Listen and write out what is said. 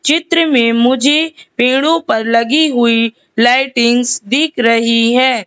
चित्र में मुझे पेड़ों पर लगी हुई लाइटिंग्स दिख रही है।